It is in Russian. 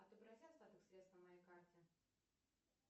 отобрази остаток средств на моей карте